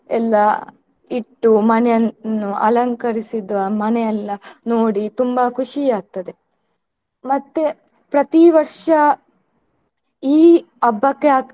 ಎಲ್ಲಾ ಇಟ್ಟು ಮನೆಯನ್ನು ಅಲಂಕರಿಸಿದ ಮನೆಯೆಲ್ಲ ನೋಡಿ ತುಂಬಾ ಖುಷಿ ಆಗ್ತದೆ ಮತ್ತೆ ಪ್ರತಿ ವರ್ಷ ಈ ಹಬ್ಬಕ್ಕೆ.